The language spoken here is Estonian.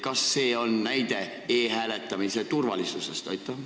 Kas see on näide e-hääletamise turvalisusest?